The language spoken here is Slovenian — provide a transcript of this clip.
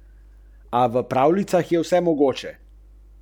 Črnikaste vode.